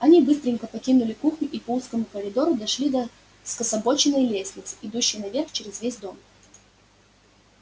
они быстренько покинули кухню и по узкому коридору дошли до скособоченной лестницы идущей наверх через весь дом